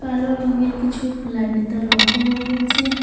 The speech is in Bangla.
কালো রঙের কিছু লাইনের তার লক্ষ করা যাচ্ছে।